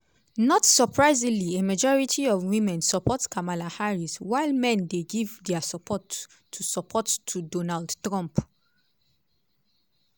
not surprisingly a majority of women support kamala harris while men dey give dia support to support to donald trump.